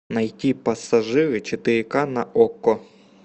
найти пассажиры четыре ка на окко